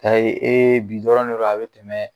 Ayi bi dɔrɔn de do a bɛ tɛmɛ